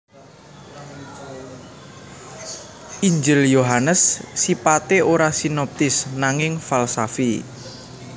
Injil Yohanes sipaté ora sinoptis nanging falsafi